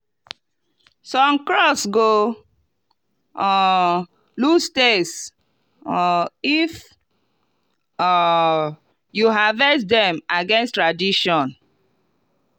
some crops go um lose taste um if um you harvest dem against tradition.